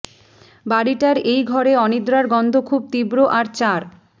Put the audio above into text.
বাড়িটার এই ঘরে অনিদ্রার গন্ধ খুব তীব্র আর চার